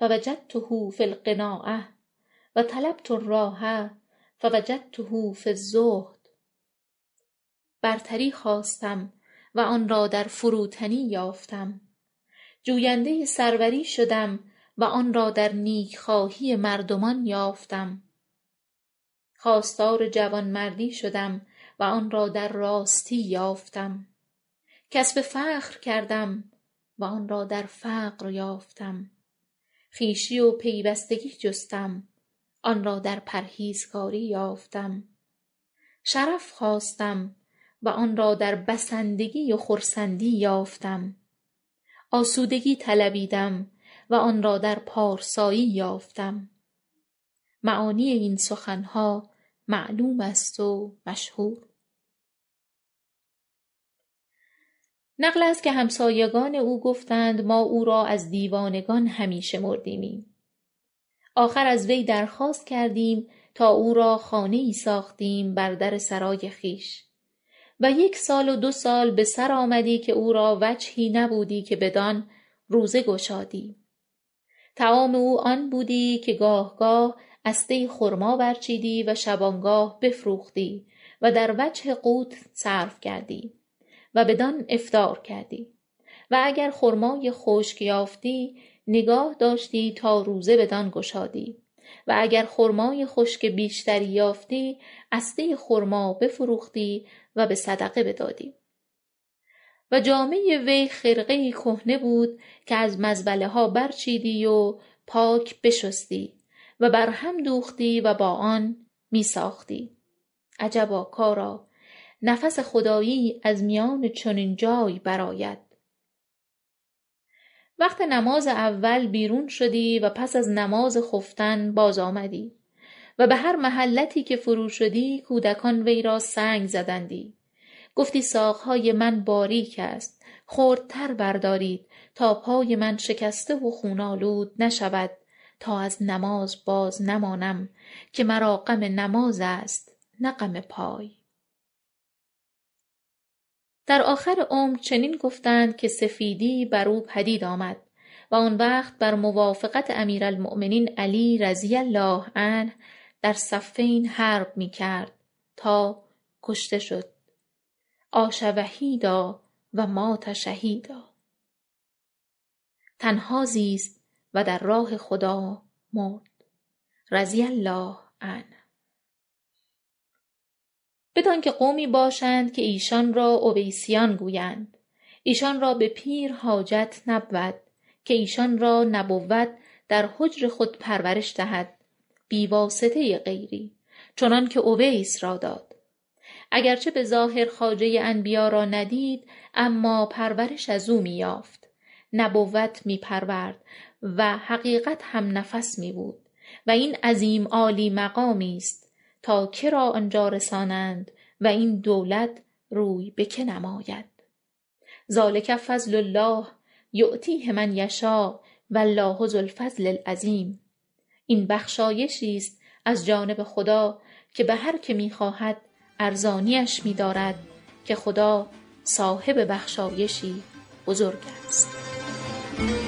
فوجدته فی القناعة و طلبت الراحة فوجدته فی الزهد برتری خواستم و آن را در فروتنی یافتم جویندۀ سروری شدم و آن را در نیکخواهی مردمان یافتم خواستار جوانمردی شدم و آن را در راستی یافتم کسب فخر کردم و آن را در فقر یافتم خویشی و پیوستگی جستم آن را در پرهیزکاری یافتم شرف خواستم و آن را در بسندگی و خرسندی یافتم آسودگی طلبیدم و آن را در پارسایی یافتم معانی این سخنها معلوم است و مشهور نقل است که همسایگان او گفتند ما او را از دیوانگان شمردیمی آخر از وی درخواست کردیم تا او را خانه ای ساختیم بر در سرای خویش و یک سال و دو سال به سرآمدی که او را وجهی نبودی که بدان روزه گشادی طعام او آن بودی که گاه گاه استۀ خرما برچیدی و شبانگاه بفروختی و در وجه قوت صرف کردی و بدان افطار کردی و اگر خرمای خشک یافتی نگاه داشتی تا روزه بدان گشادی و اگر خرمای خشک بیشتر یافتی استۀ خرما بفروختی و به صدقه بدادی و جامۀ وی خرقه ای کهنه بود که از مزبله ها برچیدی و پاک بشستی و برهم دوختی و با آن می ساختی عجبا کارا نفس خدایی از میان چنین جای برآید وقت نماز اول بیرون شدی و پس از نماز خفتن بازآمدی و به هر محلتی که فروشدی کودکان وی را سنگ زدندی گفتی ساقهای من باریک است خردتر بردارید تا پای من شکسته و خون آلوده نشود تا از نماز بازنمانم که مرا غم نماز است نه غم پای در آخر عمر چنین گفتند که سفیدی برو پدید آمد و آن وقت برموافقت امیرالمؤمنین علی رضی الله عنه در صفین حرب می کرد تا کشته شد عاش وحیدا ومات شهیدا تنها زیست و در راه خدا مرد رضی الله عنه بدانکه قومی باشند که ایشان را اویسیان گویند ایشان را به پیر حاجت نبود که ایشان را نبوت در حجر خود پرورش دهد بی واسطه غیری چنانکه اویس را داد اگرچه به ظاهر خواجۀ انبیا را ندید اما پرورش ازو می یافت نبوت می پرورد و حقیقت هم نفس می بود و این عظیم عالی مقامی است تا که را آنجا رسانند واین دولت روی به که نماید ذلک فضل الله یؤتیه من یشاء و الله ذوالفضل العظیم تین بخشایشی است از جانب خدا که به هر که می خواهد ارزانیش می دارد که خدا صاحب بخشایشی بزرگ است / حدید 21